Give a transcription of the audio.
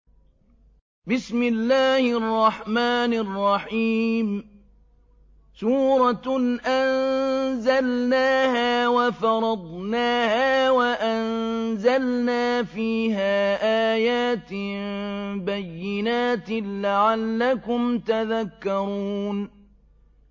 سُورَةٌ أَنزَلْنَاهَا وَفَرَضْنَاهَا وَأَنزَلْنَا فِيهَا آيَاتٍ بَيِّنَاتٍ لَّعَلَّكُمْ تَذَكَّرُونَ